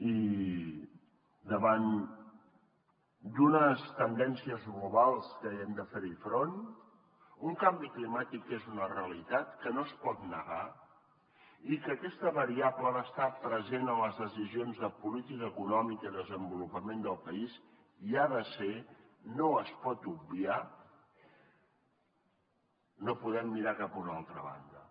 i davant d’unes tendències globals que hem de fer hi front un canvi climàtic que és una realitat que no es pot negar i que aquesta variable ha d’estar present en les decisions de política econòmica i desenvolupament del país hi ha de ser no es pot obviar no podem mirar cap a una altra banda